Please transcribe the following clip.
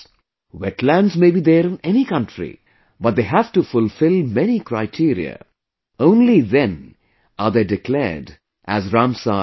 Wetlands may be there in any country; but they have to fulfill many criteria; only then are they declared as Ramsar Sites